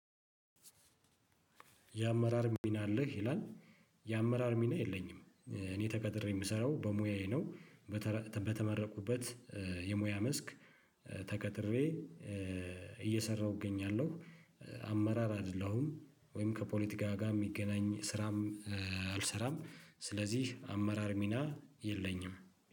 የአመራር ሚና አለህ ይላል? የአመራር ሚና የለኝም። እኔ ተቀጥሬ የምሰራው በሙያዬ ነው። በተመረቁበት የሙያ መስክ። ተቀጥሬ እየሰራሁ እገኛለሁ። አመራር አይደለሁም ወይም ከፖለቲካ ጋር የሚገናኝ ስራም አልሰራም። ስለዚህ አመራር ሚና የለኝም